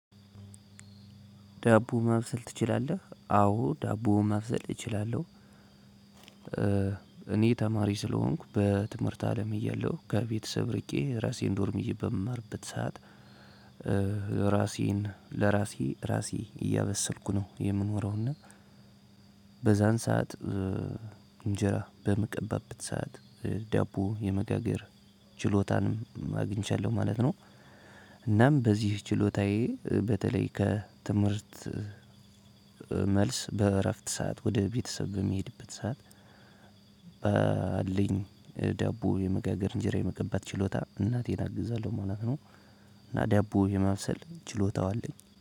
ዳቦ ማብሰል ትችላለህ? አዎ ዳቦ ማብሰል እችላለሁ። እኔ ተማሪ ስለሆንኩ በትምህርት አለም እያለሁ ከቤተሰብ ርቄ የራሴን ዶርም ይዤ በምማርበት ሰዓት። ለራሴን ለራሴ ራሴ እያበሰልኩ ነው የምኖረውና በዛን ሰዓት እንጀራ በምቀባበት ሰዓት ዳቦ የመጋገር ችሎታንም አግኝቻለሁ ማለት ነው። እናም በዚህ ችሎታዬ በተለይ ከትምህርት መልስ በእረፍት ሰዓት ወደ ቤተሰብ በምሄድበት ሰዓት። ባለኝ ዳቦ የመጋገር እንጀራ የመቀባት ችሎታ እናቴን አግዛለሁ ማለት ነው። እና ዳቦ የማብሰል ችሎታው አለኝ